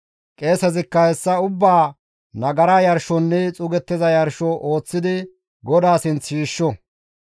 « ‹Qeesezikka hessa ubbaa nagara yarshonne xuugettiza yarsho ooththidi GODAA sinth shiishsho.